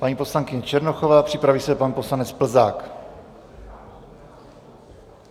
Paní poslankyně Černochová, připraví se pan poslanec Plzák.